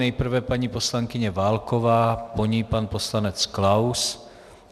Nejprve paní poslankyně Válková, po ní pan poslanec Klaus.